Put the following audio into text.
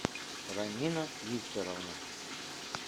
ранина викторовна